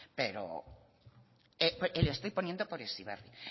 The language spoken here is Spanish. pero le estoy poniendo por heziberri